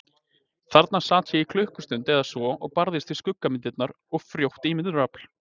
Þarna sat ég í klukkustund eða svo og barðist við skuggamyndirnar og frjótt ímyndunarafl.